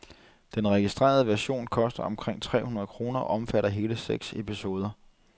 Den registrerede version koster omkring tre hundrede kroner og omfatter hele seks episoder.